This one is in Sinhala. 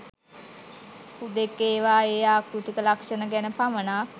හුදෙක් ඒවායේ ආකෘතික ලක්ෂණ ගැන පමණක්